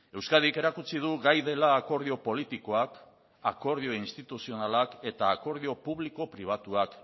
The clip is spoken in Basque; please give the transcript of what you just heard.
euskadik erakutsi du gai dela akordio politikoak akordio instituzionalak eta akordio publiko pribatuak